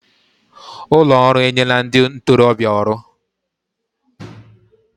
Ụlọ ọrụ enyela ndị ntorobịa ọrụ